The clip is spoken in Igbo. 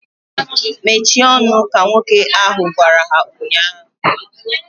Mechie ọnụ! Ka nwoke ahu gwara ha ụnyaahụ